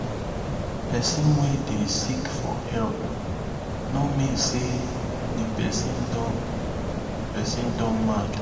pesin wey dey seek for help no mean say di pesin don pesin don mad